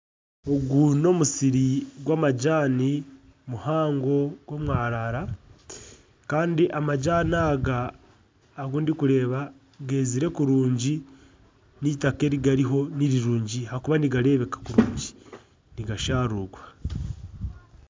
Ogu n'omusiri gw'amajani muhango gw'omwarara kandi amajani aga ogu ndikureeba geezire kurungi, n'eitaaka eri gariho ni rirungi ahakuba nigareebeka kurungi, nigasharuurwa